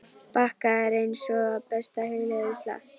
bakka er eins og besta hugleiðsla.